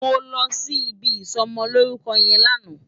Mó lòsí ibi isòmòlórúkò yèn làná